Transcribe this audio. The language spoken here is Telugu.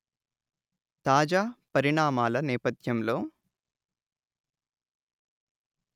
తాజా పరిణామాల నేపథ్యంలో